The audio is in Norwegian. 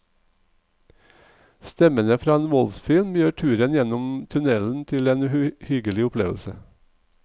Stemmene fra en voldsfilm gjør turen gjennom tunnellen til en uhyggelig opplevelse.